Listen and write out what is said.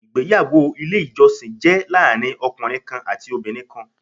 Ìgbéyàwó ti Ilé ìjọsìn jé láàrin ọkùnrin kan àti obìnrin kan